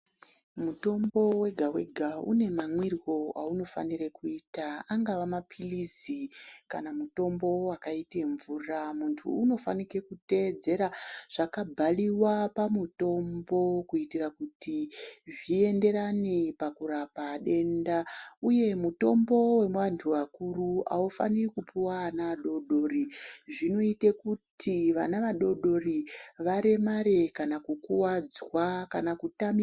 Mutombo wega wega unemamwiro aunofanirwe kuita angave mapilizi kana mutombo wakaite mvura muntu unofanire kuteedzera zvakabhaliwa pamutombo kuitira kuti zvienderane pakurapa denda uye mutombo weantu akuru aufaniri kupuwe ana adodori zvinoite kuti vana vadodori varemare kana kukuwadzwa kana kutamika.